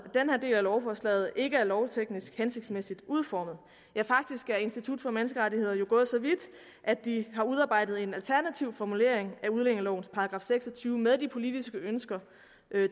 den her del af lovforslaget ikke er lovteknisk hensigtsmæssigt udformet ja faktisk er institut for menneskerettigheder jo gået så vidt at de har udarbejdet en alternativ formulering af udlændingelovens § seks og tyve med de politiske ønsker